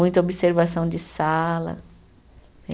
Muita observação de sala, né?